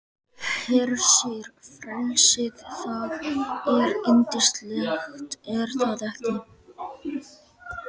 Hersir, frelsið, það er yndislegt er það ekki?